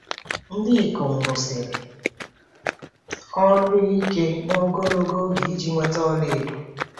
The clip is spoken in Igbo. Ndị ikom rụsiri ọrụ ike na ogologo oge iji nweta ọlaedo.